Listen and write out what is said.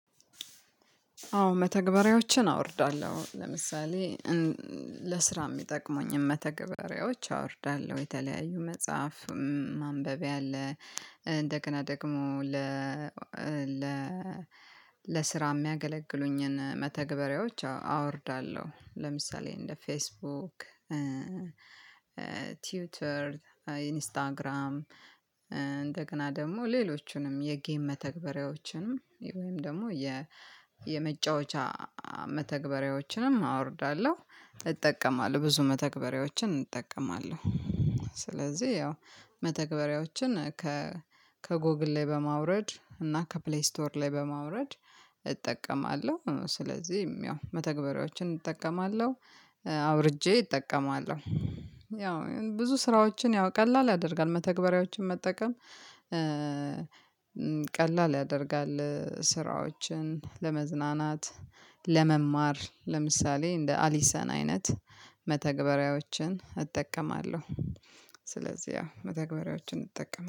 አዎ መተግበሪያዎችን አወርዳለሁ። ለምሳሌ ለስራ የሚጠቅሙኝም መተግበሪያዎች አወርዳለሁ የተለያዩ መጽሐፍ ማንበብያ አለ። እንደገና ደግሞ ለ ለ ለስራ የሚያገለግሉኝን መተግበሪያዎች አወርዳለሁ። ለምሳሌ እንደ ፌስቡክ ቲውተር ኢንስታግራም። እንደገና ደግሞ ሌሎቹንም የጌም መተግበሪያዎችንም ወይም ደግሞ የመጫወቻ መተግበሪያዎችንም አወርዳለሁ። እጠቀማለሁ ብዙ መተግበሪያዎችን እጠቀማለሁ። ስለዚህ ያው መተግበሪያዎችን ከ ከጎግል ላይ በማውረድ እና ከፕሌይ ስቶር ላይ በማውረድ እጠቀማለሁ። ስለዚህም ያው መተግበሪያዎችን እጠቀማለሁ አውርጄ እጠቀማለሁ። ያው ብዙ ስራዎችን ያው ቀላል ያደርጋል መተግበሪያዎችን መጠቀም ቀላል ያደርጋል። ስራዎችን ለመዝናናት ለመማር ለምሳሌ እንደ አሊሰን አይነት መተግበሪያዎችን እጠቀማለሁ። ስለዚህ ያው መተግበሪያዎችን እጠቀም